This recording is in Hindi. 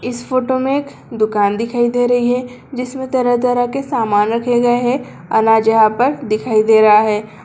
इस फोटो मे एक दुकान दिखाई दे रही है जिसमे तरह तरह के सामान रखे गए है अनाज यहां पर दिखाई दे रहा है।